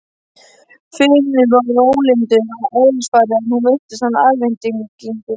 Finnur var rólyndur að eðlisfari en nú fylltist hann eftirvæntingu.